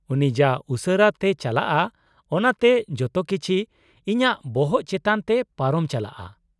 -ᱩᱱᱤ ᱡᱟ ᱩᱥᱟᱹᱨᱟ ᱛᱮᱭ ᱪᱟᱞᱟᱜᱼᱟ ᱚᱱᱟᱛᱮ ᱡᱚᱛᱚ ᱠᱤᱪᱷᱤ ᱤᱧᱟᱹᱜ ᱵᱚᱦᱚᱜ ᱪᱮᱛᱟᱜ ᱛᱮ ᱯᱟᱨᱚᱢ ᱪᱟᱞᱟᱜᱼᱟ ᱾